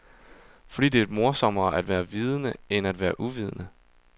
Fordi det er morsommere at være vidende end at være uvidende.